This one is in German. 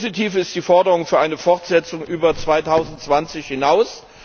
Positiv ist die Forderung für eine Fortsetzung über 2020 hinaus.